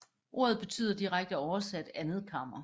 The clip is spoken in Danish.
Ordet betyder direkte oversat andet kammer